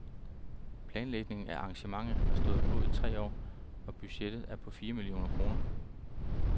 Planlægningen af arrangementet har stået på i tre år, og budgettet er på fire millioner kroner.